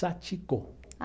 Satiko.